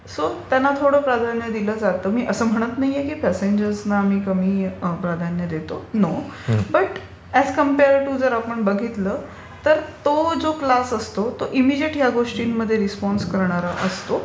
So त्यांना थोडं प्राधान्य दिलं जातं. मी असं म्हणत नाहीये की इतर प्यासेंजर्सना आम्ही कमी प्राधान्य देतो. नो. बट अॅज कांपेयर जर आपण बघितलं तर तो जो क्लास असतो तो इमिजिएट या गोष्टींमध्ये रिस्पॉन्स करणारा असतो.